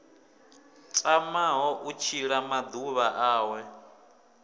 tamaho u tshila maḓuvha awe